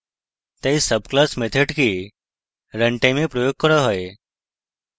তাই subclass মেথডকে runtime এ প্রয়োগ করা হয়